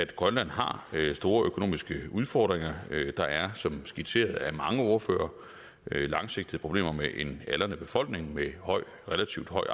grønland har store økonomiske udfordringer der er som skitseret af mange ordførere langsigtede problemer med en aldrende befolkning med relativt høj